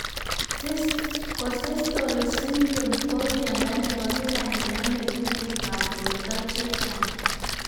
Costello syndrome ko miondo nepo kila nenamei tuguk ab porto chechang'